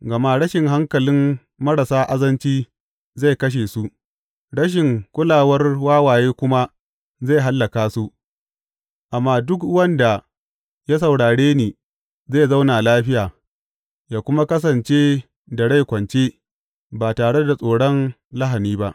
Gama rashin hankalin marasa azanci zai kashe su, rashin kulawar wawaye kuma zai hallaka su; amma duk wanda ya saurare ni, zai zauna lafiya yă kuma kasance da rai kwance, ba tare da tsoron lahani ba.